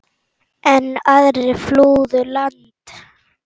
Enn aðrir flúðu land.